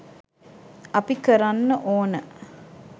අපි කරන්න ඕන